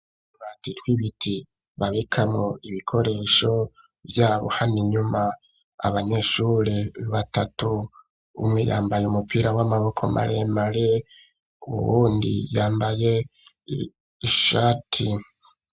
Utubati tw'ibiti babikamwo ibikoresho vyabo hano inyuma, abanyeshure batatu umwe yambaye umupira w'amaboko maremare uwundi yambaye ishati.